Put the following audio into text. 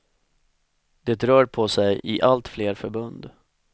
Det rör på sig i allt fler förbund.